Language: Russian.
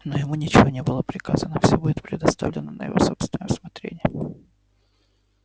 но ему ничего не было приказано всё будет предоставлено на его собственное усмотрение